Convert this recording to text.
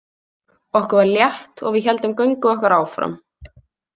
Okkur var létt og við héldum göngu okkar áfram.